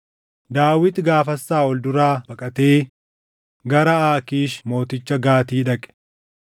Daawit gaafas Saaʼol duraa baqatee gara Aakiish mooticha Gaati dhaqe.